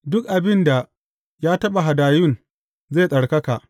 Duk abin da ya taɓa hadayun zai tsarkaka.’